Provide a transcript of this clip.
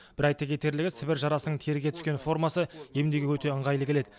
бір айта кетерлігі сібір жарасының теріге түскен формасы емдеуге өте ыңғайлы келеді